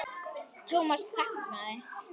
Thomas þagði.